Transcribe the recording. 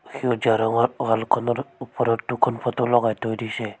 সেউজীয়া ৰঙৰ ৱালখনৰ ওপৰত দুখন ফটো লগাই থৈ দিছে।